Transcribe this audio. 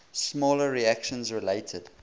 smaller sections related